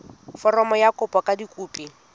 foromo ya kopo ka dikopi